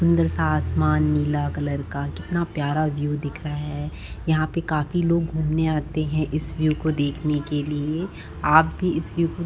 सुंदर से आसमान नीला कलर का कितना प्यारा व्यू दिख रहा है यहाँ पे काफी लोग घूमने आते है इस व्यू को देखने के लिए आप भी इस व्यू को --